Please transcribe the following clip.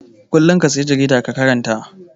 Kullum ka sayi jarida ka karanta.